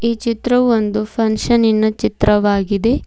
ಈ ಚಿತ್ರವು ಒಂದು ಫಂಕ್ಷನ್ ನಿನ ಚಿತ್ರವಾಗಿದೆ.